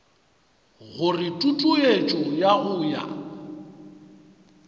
gore tutuetšo ya go ya